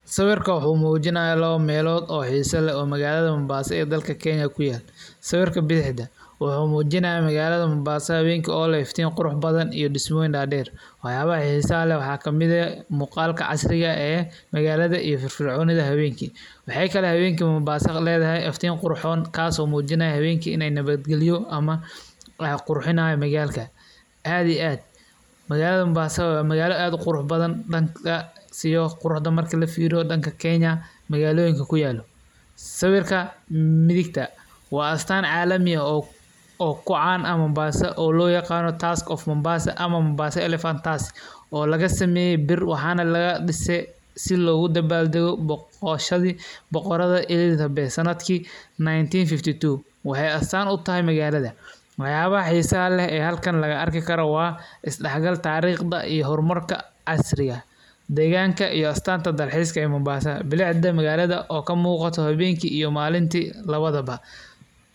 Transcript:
Sawirka wuxu mujinaya lawo melodh oo xisa leh, oo magalaxa mombasa ee dalka kenya, sawirka bidaxda wuxu mujinaya magalada mombassa hawenki oo leh iftin qurux badan iyo dismoyin daader, waxyaba xissa leh waxa kamid eh, muqaalka casriga eh ee magalada iyo firfirconida hawenki, maxay kale oo hawenki mombassa ledaxay iftiin qurxon kaas oo mujinaya hawenki ini nawad qalyo ama qurxinayo magalka, aad iyo aad magalada mombassa wa magalo aad uqurux badan dankas iyo quruxda marki lafiriyo danka kenya magaloyinka kuyalo, sawirka. midiqta wa astan calami oo kucan ah mombassa oo loyagano task pf mombassa ama mombassa elephant task oo lagasameye biir, waxan lagadise si logudabaldago boqashadi boqorada Elizabeth sanadki 1952, waxay astaan utaxay magalada, waxyabaxa xissa leh e xalkan laqaarki karo waa isdaxgal tarigta iyo xormarka casriga, deganka iyo astaanta dalxiska ee mombassa, bilicda magalada oo kamugato hawenki iyo malinki ba.